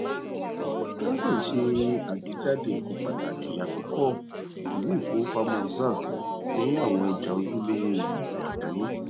transnet ṣe àgbejade nkan pataki àkọkọ iwe ifowopamo zar ní àwọn ọjà ojulowo gbese àgbáyé